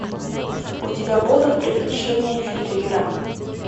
у тебя будут приключения филибера